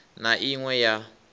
na i ṅ we ya